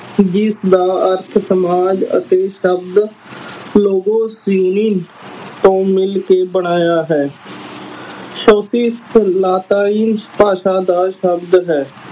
ਜਿਸਦਾ ਅਰਥ ਸਮਾਜ ਅਤੇ ਸ਼ਬਦ ਤੋਂ ਮਿਲਕੇ ਬਣਾਇਆ ਹੈ ਲੈਟਿਨ ਭਾਸ਼ਾ ਦਾ ਸ਼ਬਦ ਹੈ